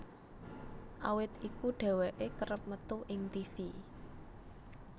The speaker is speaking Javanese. Awit iku dheweké kerep metu ing tivi